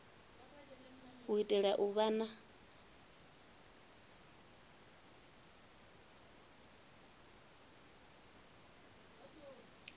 u itela u vha na